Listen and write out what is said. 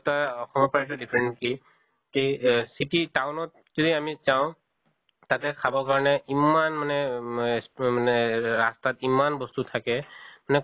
তা অসমৰ পৰা তো different কি কি এহ city town ত যদি আমি যাওঁ, তাতে খাবৰ কাৰণে ইমান মানে মে উম মানে এহ ৰাস্তাত ইমান বস্তু থাকে না